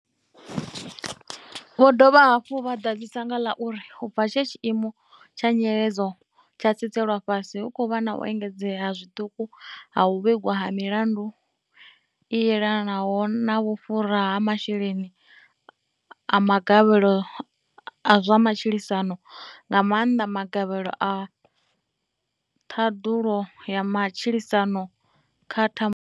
Vho dovha hafhu vha ḓadzisa nga ḽa uri u bva tshe tshiimo tsha nyiledzo tsha tsitselwa fhasi, hu khou vha na u enge dzea nga zwiṱuku ha u vhigwa ha milandu i elanaho na vhufhura ha masheleni a magavhelo a zwa matshilisano, nga maanḓa magavhelo a Ṱhaḓulo ya Matshilisano kha Thambulo.